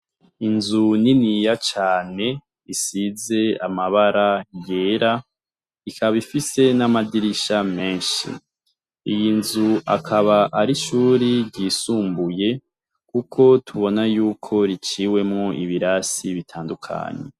Inzu niniya cane ifise amabara yera ikaba ifise n'amadirisha menshi, iyi nzu akaba ari ishure ryisumbuye, kuko tubona yuko riciwemwo ibirasi bitandukanye.